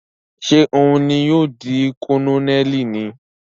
Ṣe òun ní yóò di Kononeli níí?